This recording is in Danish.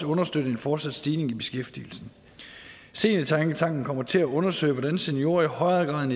understøtte en fortsat stigning i beskæftigelsen seniortænketanken kommer til at undersøge hvordan seniorer i højere grad end